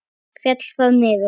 Féll þar niður.